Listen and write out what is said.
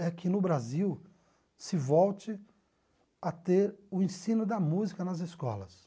é que no Brasil se volte a ter o ensino da música nas escolas.